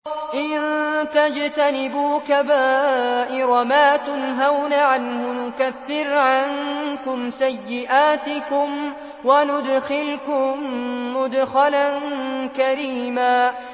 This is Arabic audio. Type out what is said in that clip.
إِن تَجْتَنِبُوا كَبَائِرَ مَا تُنْهَوْنَ عَنْهُ نُكَفِّرْ عَنكُمْ سَيِّئَاتِكُمْ وَنُدْخِلْكُم مُّدْخَلًا كَرِيمًا